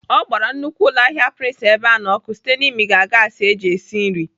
Ọ gbara nnukwu ụlọahịa Prince Ebeano ọkụ site n'imiga ìgwè gaasi eji esi nri.